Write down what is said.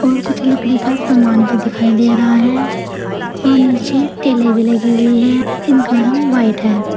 और कुछ लकड़ी का सामान भी दिखाई दे रहा है और नीचे टाइलें भी लगी हुई है इनका रंग व्हाइट है।